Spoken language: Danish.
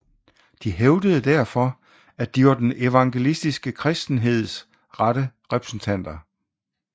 De hævdede derfor at de var den evangeliske kristenheds rette repræsentanter